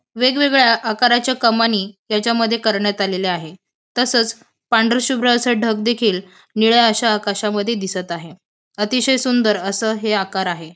वेगवेगळ्या आकाराच्या कमानी याच्यामध्ये करण्यात आलेल्या आहे. तसंच पांढराशुभ्र असं ढग देखील निळ्या अशा आकाशामध्ये दिसत आहे. अतिशय सुंदर असं हे आकार आहे.